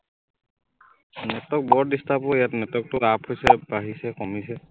Network বৰ disturb অ ইয়াত network টো up হৈছে বাঢ়িছে কমিছে